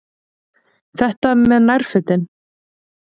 Þetta með nærfötin.